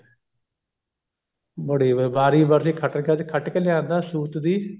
ਬੜੀ ਵੀ ਵਾਰੀ ਵਰਸੀ ਖਟਣ ਗਿਆ ਸੀ ਖੱਟ ਕੇ ਲਿਆਂਦਾ ਸੂਤ ਦੀ